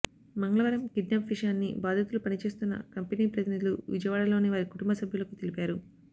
మంగళవారం కిడ్నాప్ విషయాన్ని బాధితులు పని చేస్తున్న కంపెనీ ప్రతినిధులు విజయవాడలోని వారి కుటుంబ సభ్యులకు తెలిపారు